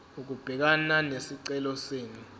ukubhekana nesicelo senu